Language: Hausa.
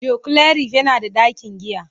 Joclarif yana da ɗakin giya.